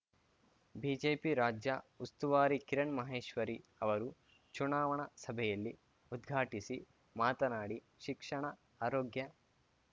BJP ರಾಜ್ಯ ಉಸ್ತುವಾರಿ ಕಿರಣ್ ಮಹೇಶ್ವರಿ ಅವರು ಚುನಾವಣಾ ಸಭೆಯಲ್ಲಿ ಉದ್ಘಾಟಿಸಿ ಮಾತನಾಡಿ ಶಿಕ್ಷಣ ಆರೋಗ್ಯ